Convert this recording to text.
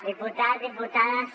diputats diputades